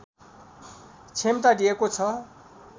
क्षमता दिएको छ